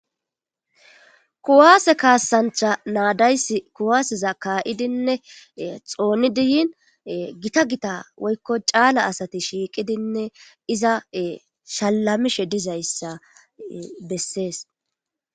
Ku'ase kasanicha na'a deyis ku'aseza ka'idinee xonidi yiini gitta gitta woy calla asati shiqidinee iza e shalamishe dizayisa beses